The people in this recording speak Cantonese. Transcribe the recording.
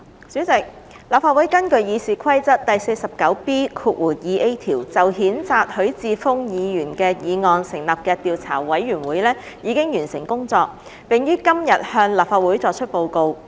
主席，立法會根據《議事規則》第 49B 條就譴責許智峯議員的議案成立的調査委員會已完成工作，並於今天向立法會作出報告。